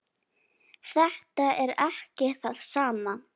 Þetta er ekki það sama.